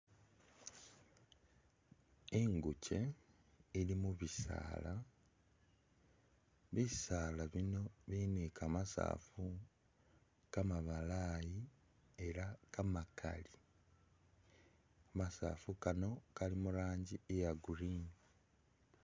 Ingukye ili mubisaala, bisaala bino bili ni kamasaafu kamabalaayi era kamakali, kamasaafu kano kali mu rangi iya green.